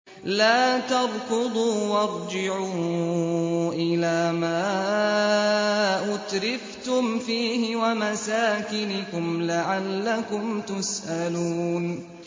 لَا تَرْكُضُوا وَارْجِعُوا إِلَىٰ مَا أُتْرِفْتُمْ فِيهِ وَمَسَاكِنِكُمْ لَعَلَّكُمْ تُسْأَلُونَ